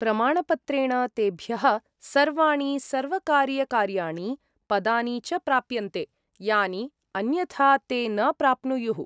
प्रमाणपत्रेण तेभ्यः सर्वाणि सर्वकारीयकार्याणि, पदानि च प्राप्यन्ते, यानि अन्यथा ते न प्राप्नुयुः।